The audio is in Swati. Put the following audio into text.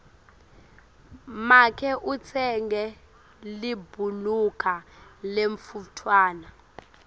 make utsenge libhuluka lemntfwana